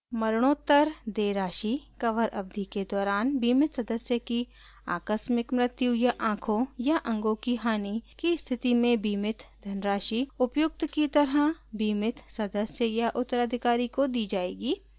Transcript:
मरणोत्तर देय राशि: कवर अवधि के दौरान बीमित सदस्य की आकस्मिक मृत्यु या आँखों या अंगों की हानि की स्थिति में बीमित धनराशि उपयुक्त की तरह बीमित सदस्य या उत्तराधिकारी को दी जाएगी